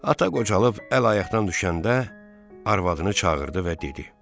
Ata qocalıb əl-ayaqdan düşəndə arvadını çağırdı və dedi: